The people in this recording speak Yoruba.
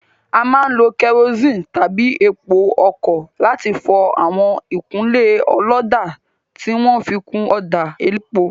A máa ń lo kerosene tàbí epo ọkọ̀ láti fọ àwọn ìkunlé ọlọ́dà tí wọn fi kun ọ̀dà elépo.